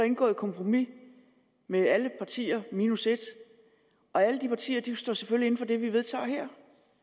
indgået et kompromis med alle partier minus et og alle de partier står selvfølgelig inde for det vi vedtager her